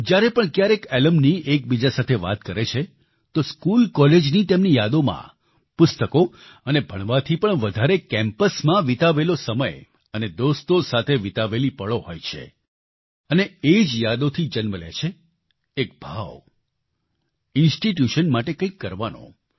જ્યારે પણ ક્યારેક એલ્યુમની એકબીજા સાથે વાત કરે છે તો સ્કૂલ કોલેજની તેમની યાદોમાં પુસ્તકો અને ભણવાથી પણ વધારે કેમ્પસમાં વિતાવેલો સમય અને દોસ્તો સાથે વિતાવેલી પળો હોય છે અને એ જ યાદોથી જન્મ લે છે એક ભાવ ઇન્સ્ટિટ્યુશન માટે કંઈક કરવાનો